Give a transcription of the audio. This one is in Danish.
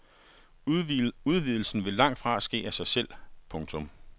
Udvidelsen vil langtfra ske af sig selv. punktum